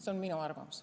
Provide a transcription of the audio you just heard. See on minu arvamus.